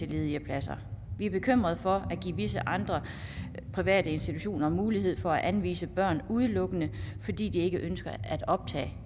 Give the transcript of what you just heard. ledige pladser vi er bekymrede for at give visse andre private institutioner mulighed for at anvise børn udelukkende fordi de ikke ønsker at optage